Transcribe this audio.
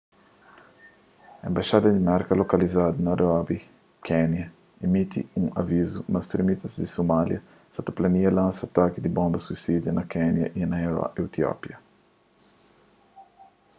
enbaxada di merka lokalizadu na nairobi kénia imiti un avizu ma stremistas di somália sa ta plania lansa ataki di bonba suisida na kénia y na etiópia